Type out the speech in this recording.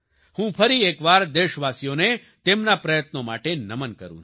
હું ફરી એકવાર દેશવાસીઓને તેમના પ્રયત્નો માટે નમન કરું છું